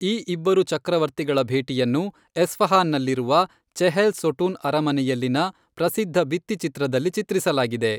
ಈ ಇಬ್ಬರು ಚಕ್ರವರ್ತಿಗಳ ಭೇಟಿಯನ್ನು ಎಸ್ಫಹಾನ್ನಲ್ಲಿರುವ ಚೆಹೆಲ್ ಸೊಟುನ್ ಅರಮನೆಯಲ್ಲಿನ ಪ್ರಸಿದ್ಧ ಭಿತ್ತಿಚಿತ್ರದಲ್ಲಿ ಚಿತ್ರಿಸಲಾಗಿದೆ.